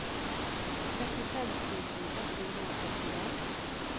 trettifem tusen ett hundre og trettien